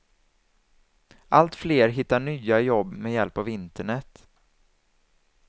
Allt fler hittar nya jobb med hjälp av internet.